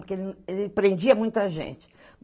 Porque ele ele prendia muito a gente.